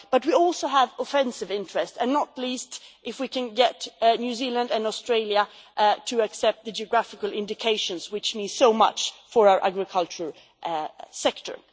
But we also have offensive interest, and not least if we can get New Zealand and Australia to accept the geographical indications which mean so much for our agricultural sector.